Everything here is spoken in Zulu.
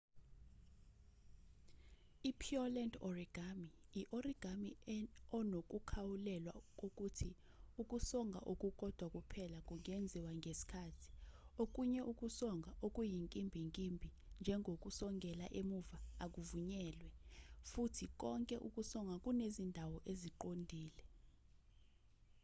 i-pureland origami i-origami onokukhawulelwa kokuthi ukusonga okukodwa kuphela kungenziwa ngesikhathi okunye ukusonga okuyinkimbinkimbi njengokusongela emuva akuvunyelwe futhi konke ukusonga kunezindawo eziqondile